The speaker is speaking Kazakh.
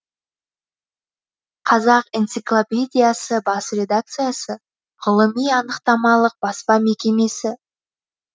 қазақ энциклопедиясы бас редакциясы ғылыми анықтамалық баспа мекемесі